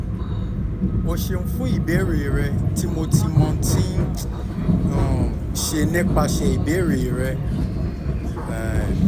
o ṣeun fun ibeere rẹ mo ti mo ti um ṣe nipasẹ ibeere rẹ um